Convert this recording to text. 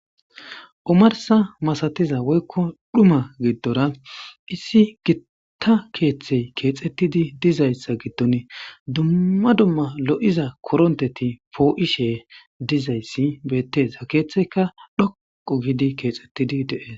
omarsa masatiza woykko dhuma giddora issi gitta keeththey keexettidi dizayssa giddon dumma dumma lo7iza koronteti poo7ishe dizayssi beetteza keeththeyka dhoqo giidi keexettidi dee